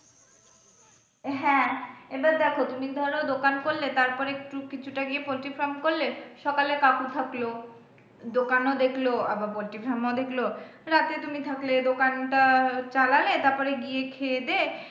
হ্যাঁ, এবার দেখো তুমি ধর দোকান করলে তারপর একটু কিছুটা গিয়ে poultry farm করলে সকালে কাকু থাকলো, দোকানও দেখল আবার poultry farm ও দেখল, রাতে তুমি থাকলে দোকানটা চালালে তারপর গিয়ে খেয়েদেয়ে,